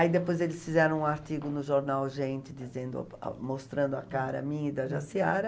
Aí depois eles fizeram um artigo no jornal Gente, dizendo, mostrando a cara minha e da Jaciara.